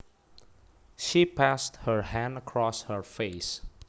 She passed her hand across her face